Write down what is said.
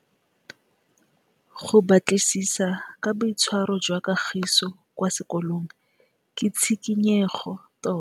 Go batlisisa ka boitshwaro jwa Kagiso kwa sekolong ke tshikinyêgô tota.